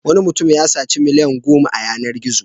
Wani mutum ya saci miliyan goma a yanar-gizo.